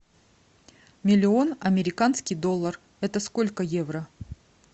миллион американский доллар это сколько евро